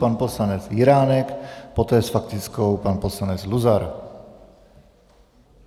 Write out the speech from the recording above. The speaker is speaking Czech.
Pan poslanec Jiránek, poté s faktickou pan poslanec Luzar.